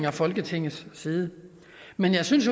og folketingets side men jeg synes